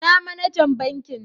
lna manajan bankin?